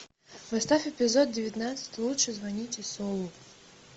поставь эпизод девятнадцать лучше звоните солу